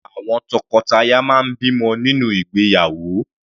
Àwọn tọkọtaya máa ń bímọ nínú ìgbéyàwó.